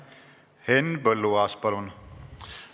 Henn Põlluaas, palun!